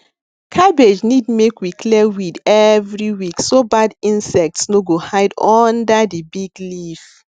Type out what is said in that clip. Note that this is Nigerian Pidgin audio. cabbage need make we clear weed every week so bad insects no go hide under the big leaf